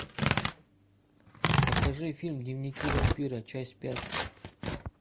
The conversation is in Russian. покажи фильм дневники вампира часть пять